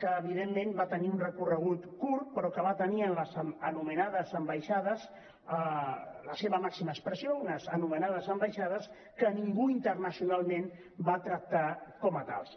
que evidentment va tenir un recorregut curt però que va tenir en les anomenades ambaixades la seva màxima expressió unes anomenades ambaixades cionalment va tractar com a tals